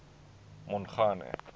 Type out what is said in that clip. mongane